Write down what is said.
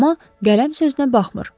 Amma qələm sözünə baxmır.